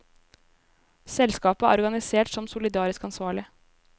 Selskapet er organisert som solidarisk ansvarlig.